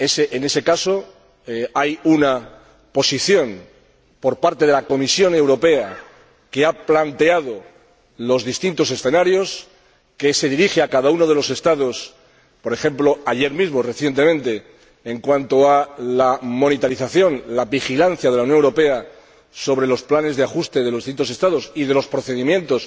En ese caso hay una posición de la Comisión Europea, que ha planteado los distintos escenarios, que se dirige a cada uno de los Estados, por ejemplo, ayer mismo, recientemente, en cuanto a la vigilancia de la Unión Europea sobre los planes de ajuste de los distintos Estados y de los procedimientos